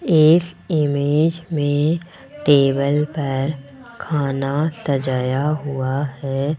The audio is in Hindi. इस इमेज में टेबल पर खाना सजाया हुआ है।